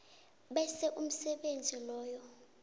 bese umsebenzi loyo